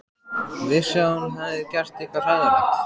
Vissi að hún hafði gert eitthvað hræðilegt.